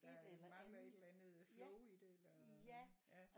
Der mangler et eller andet flow i det eller ja